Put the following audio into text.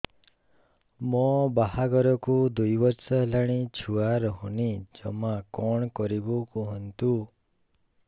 ମୋ ବାହାଘରକୁ ଦୁଇ ବର୍ଷ ହେଲାଣି ଛୁଆ ରହୁନି ଜମା କଣ କରିବୁ କୁହନ୍ତୁ